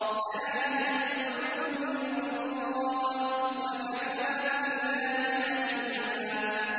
ذَٰلِكَ الْفَضْلُ مِنَ اللَّهِ ۚ وَكَفَىٰ بِاللَّهِ عَلِيمًا